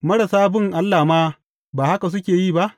Marasa bin Allah ma ba haka suke yi ba?